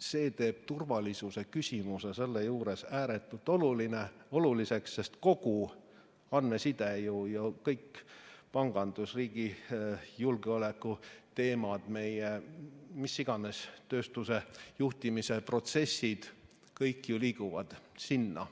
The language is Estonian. see teeb turvalisuse küsimuse selle juures ääretult oluliseks, sest kogu andmeside ju, kõik pangandusriigi julgeolekuteemad, meie mis iganes tööstuse juhtimise protsessid, kõik ju liiguvad sinna.